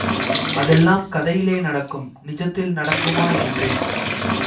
அதெல்லாம் கதையிலே நடக்கும் நிஜத்தில் நடக்குமா என்றேன்